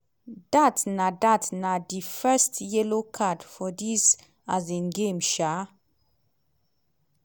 dat na dat na di first yellow card for dis um game. um